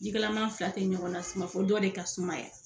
Jikalaman fila te ɲɔgɔn na suma fɔ dɔ de ka sumaya